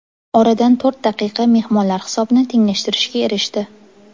Oradan to‘rt daqiqa mehmonlar hisobni tenglashtirishga erishdi.